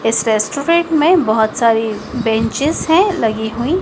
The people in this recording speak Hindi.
इस रेस्टोरेंट में बहुत सारी बेंचेज हैं लगी हुई।